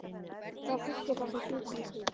Hvaða fólk er það sem býr hann til?